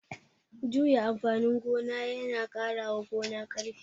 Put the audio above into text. Juya amfanin gona ya na ƙarawa gona ƙarfi